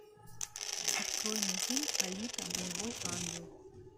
открой мне фильм алита боевой ангел